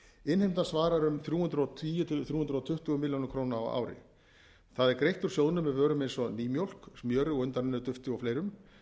innheimtan svarar um þrjú hundruð og tíu til þrjú hundruð tuttugu milljónir króna á ári greitt er úr sjóðnum með vörum eins og nýmjólk smjöri og undanrennudufti og fleira það er þeim